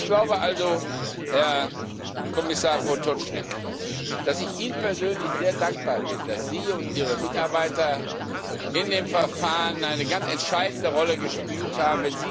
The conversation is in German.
Ich glaube also, Herr Kommissar Potočnik, dass ich Ihnen persönlich sehr dankbar bin, dass Sie und Ihre Mitarbeiter in dem Verfahren eine ganz entscheidende Rolle gespielt haben.